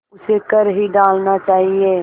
उसे कर ही डालना चाहिए